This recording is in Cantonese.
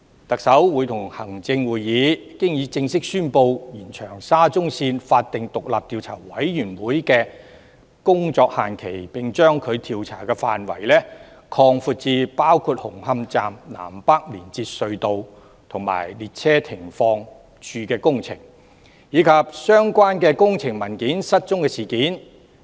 特首會同行政會議已經正式宣布延長沙中線法定獨立調查委員會的工作限期，並把調查範圍擴闊至包括紅磡站南北連接隧道及列車停放處的工程，以及相關的工程文件失蹤事件。